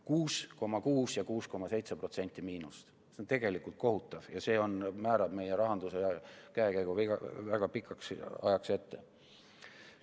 6,6% ja 6,7% miinust, see on tegelikult kohutav ja see määrab meie rahanduse käekäigu väga pikaks ajaks ette.